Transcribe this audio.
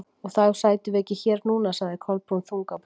Og þá sætum við ekki hér núna- sagði Kolbrún, þung á brún.